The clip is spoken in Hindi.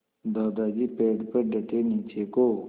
दादाजी पेड़ पर डटे नीचे को